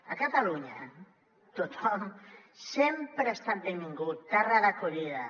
a catalunya tothom sempre ha estat benvingut terra d’acollida